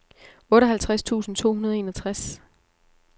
otteoghalvtreds tusind to hundrede og enogtres